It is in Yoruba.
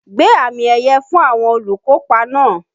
Gbé àmì ẹ̀yẹ̀ fún àwọn olùkópa náà!